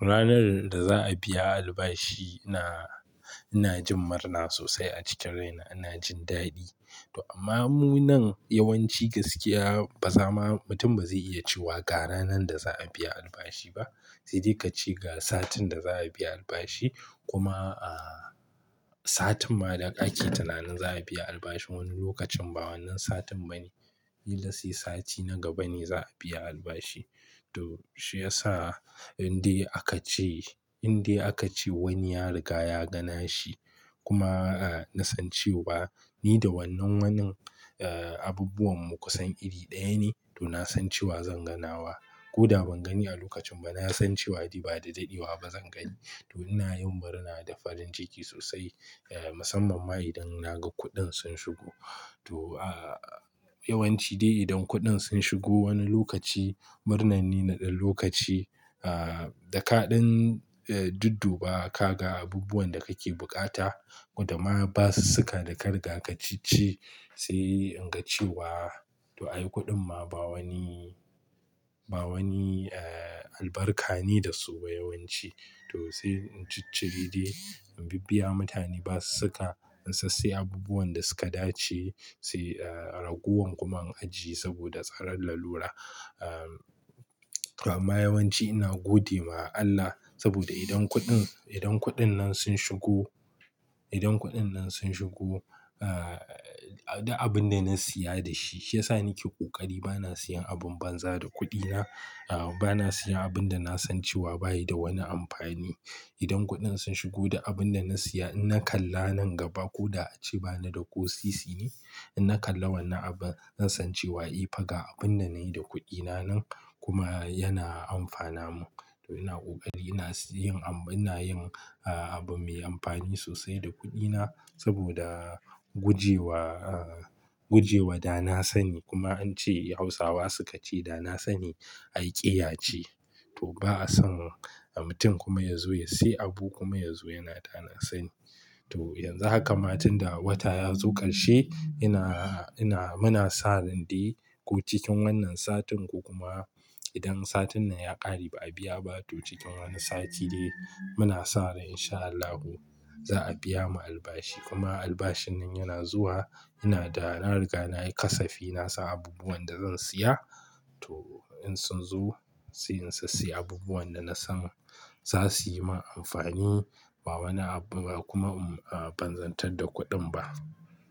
Ranar da za a biya albashi ina jin murna sosai a cikin raina, ina jin daɗi. Amma munan yawanci gaskiya ba zama mutum ba zai iya cewa ga ranar da za a biya albashi ba. Sai dai ka ce ga satin da za a biya albashi kuma a satin ma da kake tunanin za a biya albashin wani lokacin ba wannan satin bane. Yin da sai sati na gaba ne za a biya albashi. To shi ya sa in dai aka ce in dai aka ce wani ya riga ya ganashi kuma a na san cewa ni da wannan wanan eh abubuwan mu kusan iri ɗaya ne to na san cewa zan ganawa. Ko da ban gani a lokacin ba na san cewa dai ba da daɗewa ba zan gani. To ina yin murna da farin ciki sosai eh musamman ma idan na ga kuɗin sun shigo. To aa yawanci dai idan kuɗin sun shigo wani lokaci, murnar ni na ɗan lokaci aa da kaɗan eh dudduba ka ga abubuwan da kake bukata ko da ma ba su saka da karga ka ceci sai in ga cewa to ai kuɗin ma ba wani ba wani eh albarka ne da su ba yawanci. To sai in ci cibi dai in bibiya mutane ba su saka in sassai abubuwan da suka dace sai eh ragowar kuma in ajiye saboda tsararra lura. Amma yawanci ina gode ma Allah saboda idan kuɗin idan kuɗin nan sun shigo idan kuɗin nan sun shigo a duk abin da na siya da shi shi ya sa nake ƙoƙari bana siyan abin banza da kuɗina. Aa bana siya abin da na san cewa ba yi da wani amfani. Idan kuɗin sun shigo da abin da na siya in na kalla nan gaba ko da a ce bana da ƙosisi ne, in na kalla wannan abu zan san cewa eh fa ga abin da nayi da kuɗina nan kuma yana amfana mu. To ina ƙoƙari ina yin ab ina yin aa abu mai amfani sosai da kuɗina saboda gujewa a guje wa da na sani kuma an ce Hausawa suka ce "Da na sani, aiƙiya ce." To ba a son mutum kuma ya zo ya sayi abu kuma ya zo yana da na sani. To yanzu haka ma tun da wata ya zo ƙarshe ina ina muna sa ran dai ko cikin wannan satin ko kuma idan satin nan ya ƙare ba a biya ba to cikin wani sati dai muna sa rai insha Allahu za a biya mu albashi. Kuma albashin nan yana zuwa ina da na riga na yi kasafi na sa abubuwan da zan siya to in sun zo sai in sassaya abubuwan da na san za su yi min amfani ba wani abu kuma ban zantar da kuɗin ba.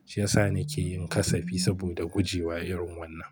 Shi ya sa nake yin kasafi saboda guje wa irin wannan.